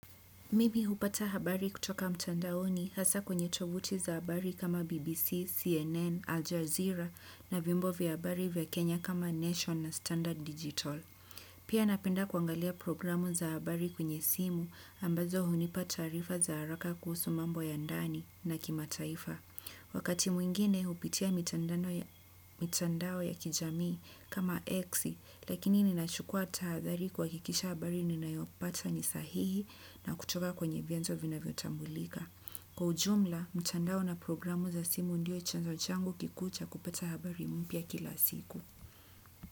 Mimi hupata habari kutoka mtandaoni hasaa kwenye tovuti za habari kama BBC, CNN, Al Jazeera na vyombo vya habari vya Kenya kama Nation na Standard Digital. Pia napenda kuangalia programu za habari kwenye simu ambazo hunipa taarifa za haraka kuhusu mambo ya ndani na kimataifa. Wakati mwingine hupitia mitandao ya kijamii kama X. Lakini ninachukua tahadhari kuhakikisha habari ninayopata ni sahihi na kutoka kwenye vyenzo vinavyotambulika. Kwa ujumla, mitandao na programu za simu ndio chanzo changu kikuu cha kupata habari mpya kila siku.